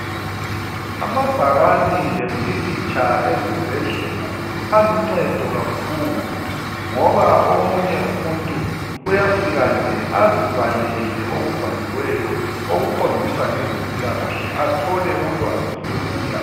Amabhakane lempikitsha ezibhedlela aluncedo kakhulu ngoba omunye umuntu uyafika nje azibalele okubhaliweyo okuqondisa ngezempilakahle athole ulwazi lula .